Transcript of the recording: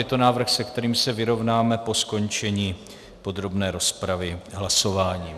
Je to návrh, se kterým se vyrovnáme po skončení podrobné rozpravy hlasováním.